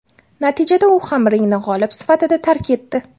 Natijada u ham ringni g‘olib sifatida tark etdi.